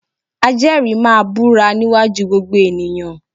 Ajẹ́rìí máa búra níwájú gbogbo ènìyàn